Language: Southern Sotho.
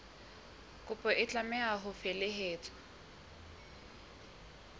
kopo e tlameha ho felehetswa